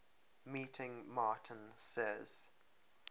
meeting martin says